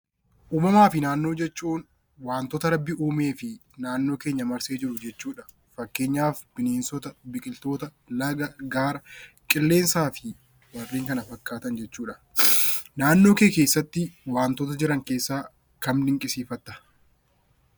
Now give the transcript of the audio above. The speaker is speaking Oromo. Uumamaa fi Naannoo jechuun wanta Rabbi uumee fi naannoo keenya marsee jiru jechuu dha. Fakkeenyaaf Bineensota, Biqiltoota, Laga, Gaara, Qilleensaa fi warreen kana fakkaatan jechuu dha. Naannoo kee keessa tti wantoota jiran keessaa kam dinqisiifatta?